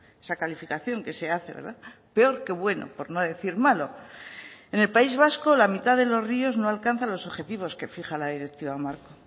esa calificación que se hace peor que bueno por no decir malo en el país vasco la mitad de los ríos no alcanzan los objetivos que fija la directiva marco